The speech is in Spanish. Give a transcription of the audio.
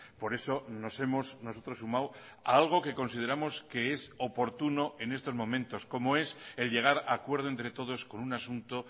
por eso nos hemos nosotros sumado a algo que consideramos que es oportuno en estos momentos como es el llegar a acuerdo entre todos con un asunto